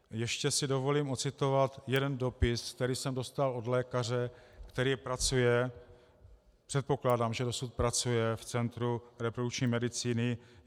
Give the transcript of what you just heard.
Ještě si dovolím odcitovat jeden dopis, který jsem dostal od lékaře, který pracuje, předpokládám, že dosud pracuje, v centru reprodukční medicíny.